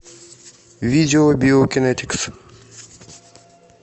видео биокинэтикс